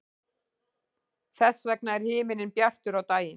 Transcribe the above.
þess vegna er himinninn bjartur á daginn